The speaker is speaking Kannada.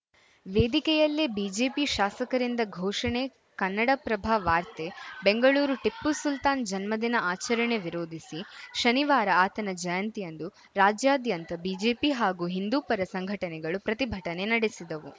ವೇದಿಕೆಯಲ್ಲೇ ಬಿಜೆಪಿ ಶಾಸಕರಿಂದ ಘೋಷಣೆ ಕನ್ನಡಪ್ರಭ ವಾರ್ತೆ ಬೆಂಗಳೂರು ಟಿಪ್ಪು ಸುಲ್ತಾನ್‌ ಜನ್ಮದಿನ ಆಚರಣೆ ವಿರೋಧಿಸಿ ಶನಿವಾರ ಆತನ ಜಯಂತಿಯಂದು ರಾಜ್ಯಾದ್ಯಂತ ಬಿಜೆಪಿ ಹಾಗೂ ಹಿಂದೂಪರ ಸಂಘಟನೆಗಳು ಪ್ರತಿಭಟನೆ ನಡೆಸಿದವು